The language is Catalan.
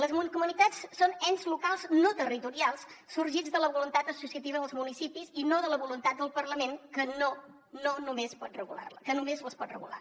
les mancomunitats són ens locals no territorials sorgits de la voluntat associativa dels municipis i no de la voluntat del parlament que només les pot regular